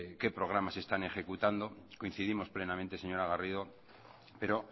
qué programas se están ejecutando coincidimos plenamente señora garrido pero